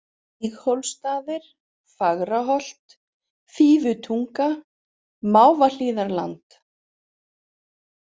Víghólsstaðir, Fagraholt, Fífutunga, Máfahlíðarland